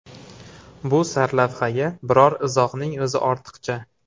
Bu sarlavhaga biror izohning o‘zi ortiqcha!